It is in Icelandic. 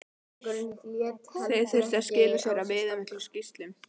Þeir þurftu að skila af sér viðamiklum skýrslum.